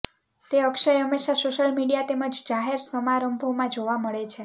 તે અક્ષય હંમેશાં social media તેમજ જાહેર સમારંભોમાં જોવા મળે છે